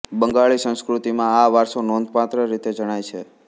બંગાળી સંસ્કૃતિમાં આ વારસો નોંધપાત્ર રીતે જણાય છે